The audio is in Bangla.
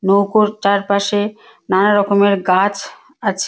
নৌকোর চারপাশে নানা রকমের গাছ আছে।